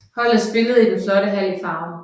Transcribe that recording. Holdet spillede i den flotte hal i Farum